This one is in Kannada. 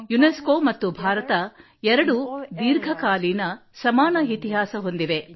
ಯುನೆಸ್ಕೊ ಮತ್ತು ಭಾರತ ಎರಡೂ ದೀರ್ಘಕಾಲೀನ ಸಮಾನ ಇತಿಹಾಸ ಹೊಂದಿವೆ